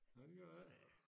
Nej det gør det ik